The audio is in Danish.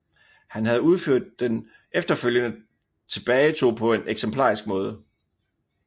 Han havde udført den efterfølgende tilbagetog på en eksemplarisk måde